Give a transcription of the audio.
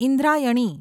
Indrayani